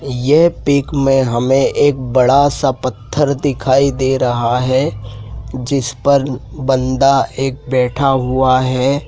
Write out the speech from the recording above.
यह पिक में हमें एक बड़ा सा पत्थर दिखाई दे रहा है जिस पर बांदा एक बैठा हुआ है।